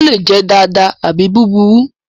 Ó lè jẹ́ dáadáa àbí búburú.